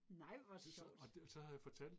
Nej hvor sjovt